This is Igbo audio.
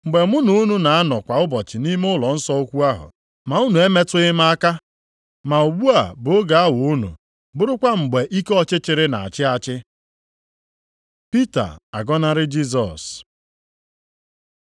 Mgbe mụ na unu na-anọ kwa ụbọchị nʼime ụlọnsọ ukwu ahụ, ma unu emetụghị m aka. Ma ugbu a bụ oge awa unu bụrụkwa mgbe ike ọchịchịrị na-achị achị.” Pita agọnarị Jisọs